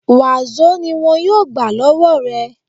Wàsó ni wọn yóò gbà lọ́wọ́ rẹ